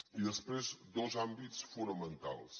i després dos àmbits fonamentals